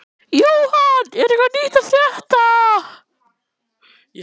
Jóhann, er eitthvað nýtt að frétta?